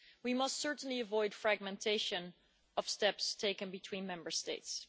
We must certainly avoid fragmentation of steps taken between Member States.